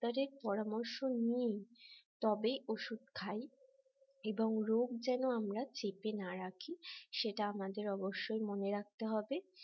ডাক্তারের পরামর্শ নিয়ে তবেই ওষুধ খাই এবং রোগ যেন আমরা চেপে না রাখি সেটা আমাদের অবশ্যই মনে রাখতে হবে